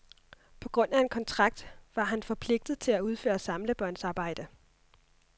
På grund af en kontrakt var han forpligtet til at udføre samlebåndsarbejde.